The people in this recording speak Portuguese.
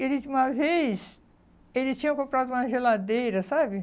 Ele uma vez, ele tinha comprado uma geladeira, sabe?